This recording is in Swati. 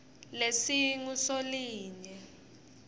lesingusolinye